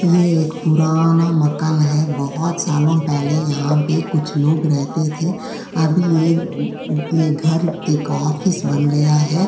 यह एक पुराना मकान है। बोहोत सालो पहले यहाँ पे कुछ लोग रहते थे। अब यह ये घर एक ऑफिस बन गया है।